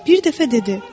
Bir dəfə dedi: